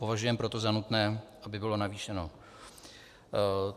Považujeme proto za nutné, aby bylo navýšeno.